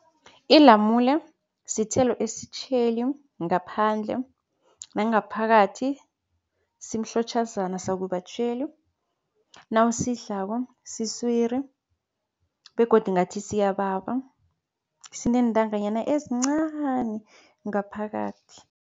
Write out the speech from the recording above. Ilamule sithelo esitjheli ngaphandle nangaphakathi, simhlotjhazana sakubatjhayeli. Nawusidlako siswiri begodu ngathi siyababa. Sineentanganyana ezincani ngaphakathi.